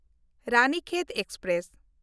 Ranikhet express